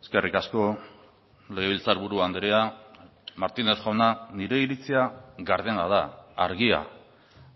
eskerrik asko legebiltzarburu andrea martínez jauna nire iritzia gardena da argia